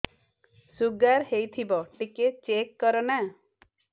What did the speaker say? sugar ହେଇଥିବ ଟିକେ check କର ନା